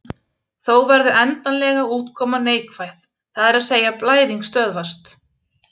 Þó verður endanlega útkoman neikvæð, það er að segja blæðing stöðvast.